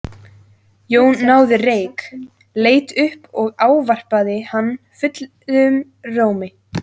Jón náði reyk, leit upp og ávarpaði hann fullum rómi.